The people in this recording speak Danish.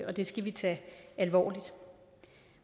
og det skal vi tage alvorligt